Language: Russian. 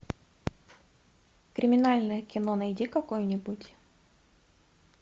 криминальное кино найди какое нибудь